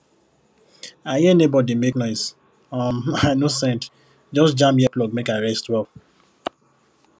i hear neighbor dey make noise um i no send just jam earplug make i rest well